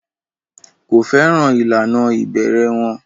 Kò fẹ́ràn ìlànà ìbẹ̀rẹ̀ wọn.